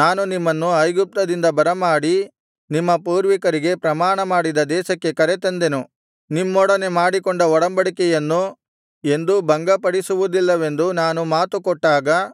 ನಾನು ನಿಮ್ಮನ್ನು ಐಗುಪ್ತದಿಂದ ಬರಮಾಡಿ ನಿಮ್ಮ ಪೂರ್ವಿಕರಿಗೆ ಪ್ರಮಾಣ ಮಾಡಿದ ದೇಶಕ್ಕೆ ಕರೆತಂದೆನು ನಿಮ್ಮೊಡನೆ ಮಾಡಿಕೊಂಡ ಒಡಂಬಡಿಕೆಯನ್ನು ಎಂದೂ ಭಂಗಪಡಿಸುವುದಿಲ್ಲವೆಂದು ನಾನು ಮಾತು ಕೊಟ್ಟಾಗ